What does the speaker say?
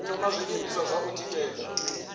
thoma zwiimiswa zwa u tikedza